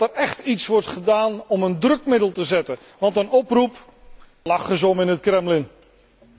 Dat er écht iets wordt gedaan om een drukmiddel te zetten, want een oproep, daar lachen ze in het Kremlin om.